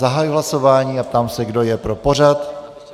Zahajuji hlasování a ptám se, kdo je pro pořad 35. schůze.